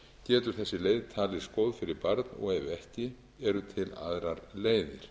getur þessi leið talist góð fyrir barn og ef ekki eru til aðrar leiðir